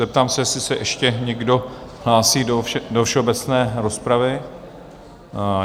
Zeptám se, jestli se ještě někdo hlásí do všeobecné rozpravy?